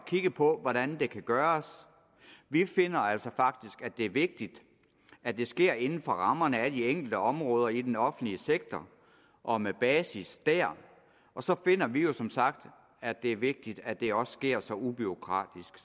kigge på hvordan det kan gøres vi finder altså faktisk at det er vigtigt at det sker inden for rammerne af de enkelte områder i den offentlige sektor og med basis der og så finder vi jo som sagt at det er vigtigt at det også sker så ubureaukratisk